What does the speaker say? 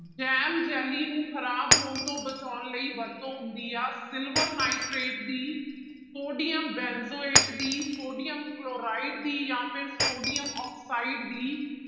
jam jelly ਨੂੰ ਖ਼ਰਾਬ ਹੋਣ ਤੋਂ ਬਚਾਉਣ ਲਈ ਵਰਤੋਂ ਹੁੰਦੀ ਆ ਸਿਲਵਰ ਨਾਇਟ੍ਰੇਟ ਦੀ, ਸੋਡੀਅਮ ਬੈਨਜੋਏਟ ਦੀ, ਸੋਡੀਅਮ ਕਲੋਰਾਇਡ ਦੀ ਜਾਂ ਫਿਰ ਸੋਡੀਅਮ ਆਕਸਾਇਡ ਦੀ,